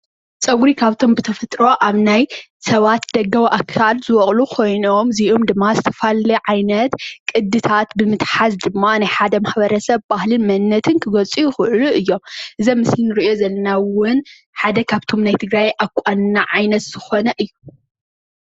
ፅጉሪ ካብቶም ብተፈጥሮ ኣብ ናይ ሰባት ደጋዊ ኣካል ዝቦቅሉ ኮይኖም እዚኦም ድማ ዝተፈላለዩ ዓይነት ቅድታት ብምትሓዝ ድማ ናይ ሓደ ማሕበረሰብ ባህልን መንነትን ክገልፁ ይክእሉ እዮም። እዚ ኣብ ምስሊ ንሪኦ ዘለና እውን ኣደ ካብቶም ናይ ትግራይ ኣቋንና ዓይነት ዝኮነ እዩ።